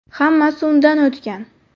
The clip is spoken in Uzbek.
Hammasi undan o‘tgan.